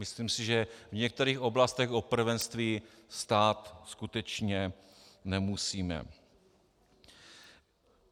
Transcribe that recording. Myslím si, že v některých oblastech o prvenství stát skutečně nemusíme.